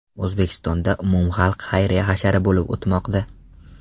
O‘zbekistonda umumxalq xayriya hashari bo‘lib o‘tmoqda.